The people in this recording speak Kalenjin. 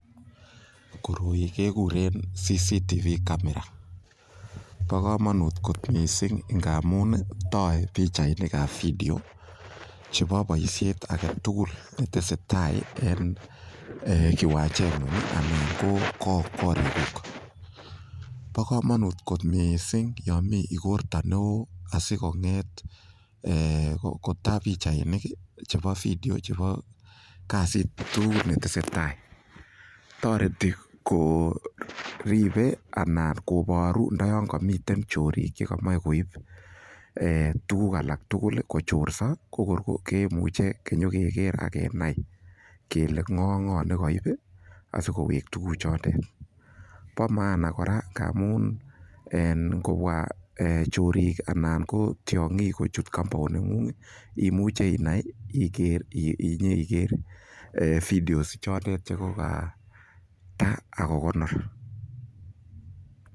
Koroi keguren CCTV camera bo komonut kot mising ngamun toe pichainik ab video chebo boisiiet age tugul che tesetai en kiwanjet. Bo komonut kot mising yon mi igorto neo asikong'et kotaa pichainik chebo video chebo kasit tugul netesetai. Toreti koribe anan kobooru ndo yon komiten chorik che komoche koib tuguk alak tugul, kochorso ko tor kemuche kenyokeger ak kenai kele ng'o ak ng'o ne koib asikowek tuguk chotet. Bo maana kora ngamun ngobwa chorik anan ko tiong'ik kochut compound neng'ung imuche inai inyeiger videos chotet che kogataa ak kogonor.